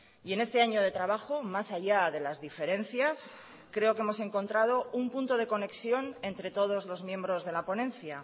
y en este año de trabajo más allá de las diferencias creo que hemos encontrado un punto de conexión entre todos los miembros de la ponencia